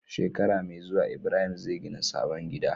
Shekara me zuwa ibrahim zai gina sabon gida